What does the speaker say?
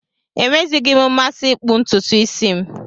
Enweghịzi m mmasị ịkpụ ntutu isi m